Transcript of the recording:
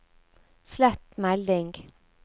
slett melding